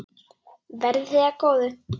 Verði þér að góðu.